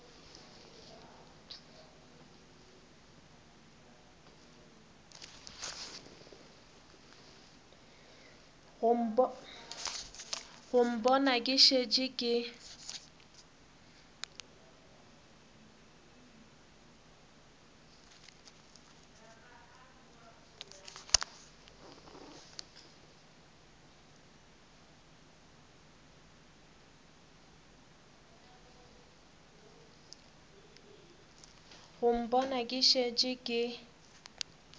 go mpona ke šetše ke